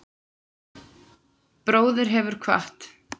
Bróðir hefur kvatt.